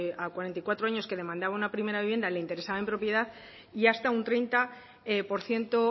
a cuarenta y cuatro años que demandaba una primera vivienda le interesaba en propiedad y hasta un treinta por ciento